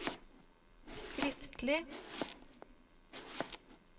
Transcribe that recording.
skriftlig